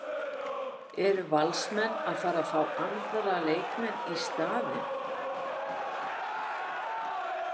Eru Valsmenn að fara að fá aðra leikmenn í staðinn?